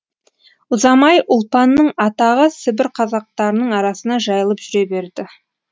ұзамай ұлпанның атағы сібір қазақтарының арасына жайылып жүре берді